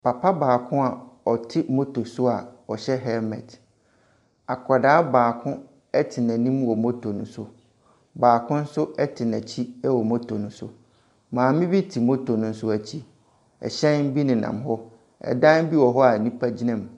Papa baako a ɔte motor so a ɔhyɛ helmet. Akwaraa baako te n'anim wɔ motor no so. Baako nso te n'akyi wɔ motor no so. Maame bi nso te motor no akyi. Ɛhyɛn bi nenam hɔ. Ɛdan bi wɔ hɔ a nipa bi nam mu.